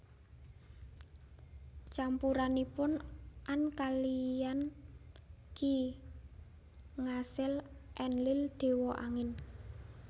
Campuranipun An kaliyan Ki ngasil Enlil dewa Angin